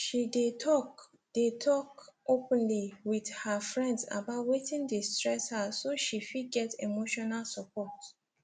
she dey talk dey talk openly with her friends about wetin dey stress her so she fit get emotional support